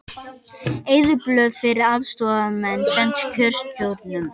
Eyðublöð fyrir aðstoðarmenn send kjörstjórnum